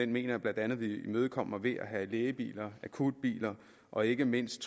mener jeg blandt andet vi imødekommer ved at have lægebiler akutbiler og ikke mindst